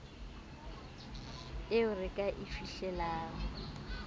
eo re ka e fihlelang